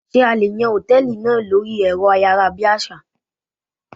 Ṣé a lè yàn Hòtẹ́lìì náà lórí èrọ ayárabíàṣá?